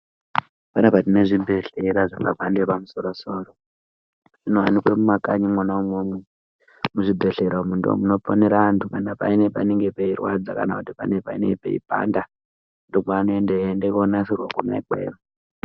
Panapa tine zvibhedhlera zvemhando yepamusoro soro zvinowanikwa mumakanyi imomo zvibhedhlera zvedu izvi zvinodetsera anhu Panenge peirwadza kana pane kweipanda ndokwanoenda eienda konasirwa Kona ikweyo.